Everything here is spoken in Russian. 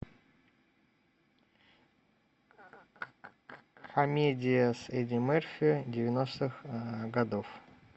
комедия с эдди мерфи девяностых годов